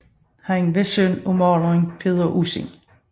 Han var søn af maleren Peder Ussing